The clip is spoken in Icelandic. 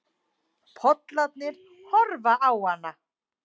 Pollarnir horfa á hana.